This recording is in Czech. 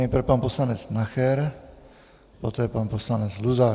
Nejprve pan poslanec Nacher, poté pan poslanec Luzar.